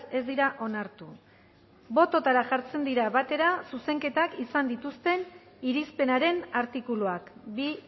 ez dira onartu botoetara jartzen dira batera zuzenketak izan dituzten irizpenaren artikuluak bi